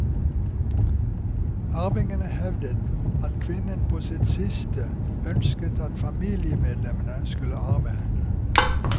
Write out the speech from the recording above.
Arvingene hevder at kvinnen på sitt siste ønsket at familiemedlemmene skulle arve henne.